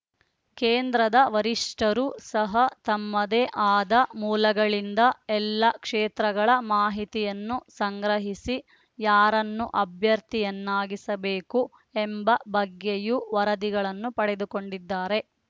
ಕೇಂದ್ರದ ವರಿಷ್ಠರು ಸಹ ತಮ್ಮದೇ ಆದ ಮೂಲಗಳಿಂದ ಎಲ್ಲ ಕ್ಷೇತ್ರಗಳ ಮಾಹಿತಿಯನ್ನು ಸಂಗ್ರಹಿಸಿ ಯಾರನ್ನು ಅಭ್ಯರ್ಥಿಯನ್ನಾಗಿಸಬೇಕು ಎಂಬ ಬಗ್ಗೆಯೂ ವರದಿಗಳನ್ನು ಪಡೆದುಕೊಂಡಿದ್ದಾರೆ